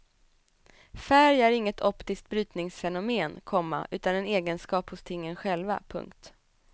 Färg är inget optiskt brytningsfenomen, komma utan en egenskap hos tingen själva. punkt